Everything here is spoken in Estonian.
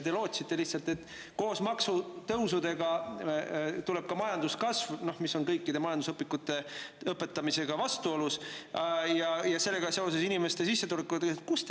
Te lootsite lihtsalt, et koos maksutõusudega tuleb ka majanduskasv – see on vastuolus kõikides majandusõpikutes õpetatuga – ja sellega seoses inimeste sissetulekud.